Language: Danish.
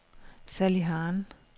Sally Hahn